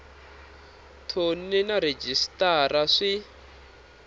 thoni na rhejisitara sw i